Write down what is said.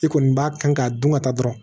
I kɔni b'a kan k'a dun ka taa dɔrɔn